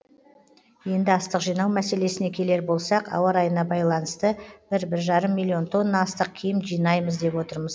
енді астық жинау мәселесіне келер болсақ ауа райына байланысты бір бір жарым миллион тонна астық кем жинаймыз деп отырмыз